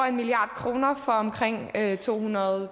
en milliard kroner for omkring to hundrede